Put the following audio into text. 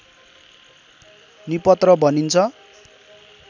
निपत्र भनिन्छ